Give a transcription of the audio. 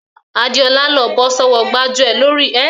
Adéọlá ló bọ́ sọ́wọ́ gbájúẹ̀ lórí ìkànnì ìbánidọ́ọ̀rẹ́ fesibúùkù